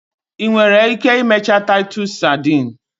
Ị nwere ike imecha titus sadin?